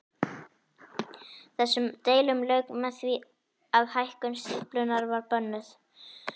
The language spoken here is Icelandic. Þessum deilum lauk með því að hækkun stíflunnar var bönnuð.